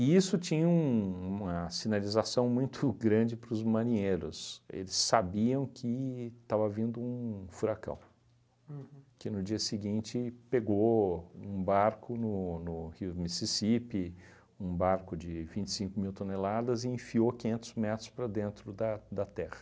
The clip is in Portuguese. E isso tinha um uma sinalização muito grande para os marinheiros, eles sabiam que estava vindo um furacão. Uhum. Que no dia seguinte pegou um barco no no rio Mississipi, um barco de vinte e cinco mil toneladas e enfiou quinhentos metros para dentro da da terra.